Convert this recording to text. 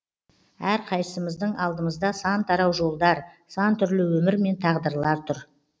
әрқайсымыздың алдымызда сан тарау жолдар сан түрлі өмір мен тағдырлар тұр